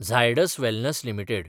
Zydus wellness limited